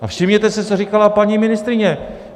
A všimněte si, co říkala paní ministryně.